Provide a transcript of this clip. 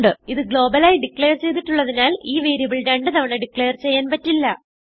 ഇത് ഗ്ലോബൽ ആയി ഡിക്ലേർ ചെയ്തിട്ടുള്ളതിനാൽ ഈ വേരിയബിൾ രണ്ട് തവണ ഡിക്ലേർ ചെയ്യാൻ പറ്റില്ല